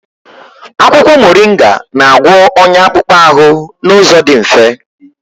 Akwụkwọ Moringa na-agwọ ọnya akpụkpọ ahụ n'ụzọ dị mfe.